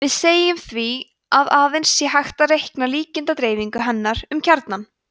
við segjum því að aðeins sé hægt að reikna líkindadreifingu hennar um kjarnann